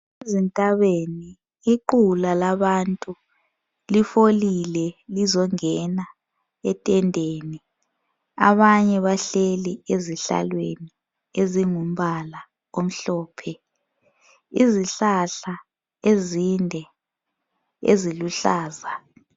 Ezintabeni iqula labantu lifolile lizongena etendeni abanye bahleli ezihlalweni ezingumbala omhlophe, izihlahla ezinde eziluhlaza.